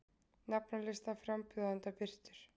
Nafnalisti frambjóðenda birtur